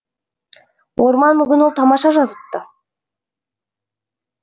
орман мүгін ол тамаша жазыпты